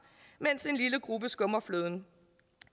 mens en lille gruppe skummer fløden